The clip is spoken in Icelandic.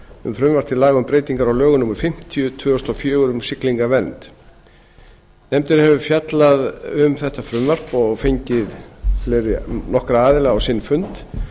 um frumvarp til laga um breytingar á lögum númer fimmtíu tvö þúsund og fjögur um siglingavernd nefndin hefur fjallað um þetta frumvarp og fengið nokkra aðila á sinn fund